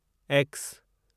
x